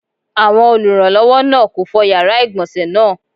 Awọn olùrànlọ́wọ́ náà kò fọ yàrá ìgbọ̀nsé náà.